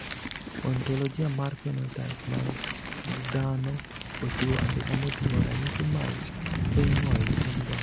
Ontologia mar phenotype mag dhano ochiwo andika moting`o ranyisi mag Feingold syndrome.